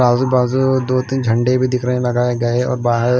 आज बाजू दो तीन झंडे भी दिख रहे हैं लगाए गए और बाहर।